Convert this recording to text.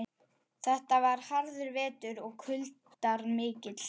Þetta var harður vetur og kuldar miklir.